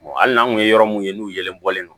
hali n'an kun ye yɔrɔ mun ye n'u yelen bɔlen don